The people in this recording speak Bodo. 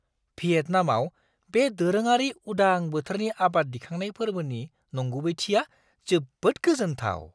भियेटनामआव बे दोरोङारि उदां बोथोरनि आबाद दिखांनाय फोर्बोनि नंगुबैथिया जोबोद गोजोन्थाव!